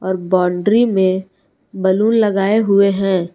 और बाउंड्री में बैलून लगाए हुए हैं।